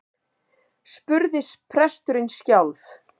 spurði presturinn skjálf